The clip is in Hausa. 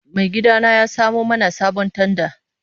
Maigidana ya samo mana sabon tanda.